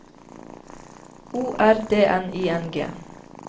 O R D N I N G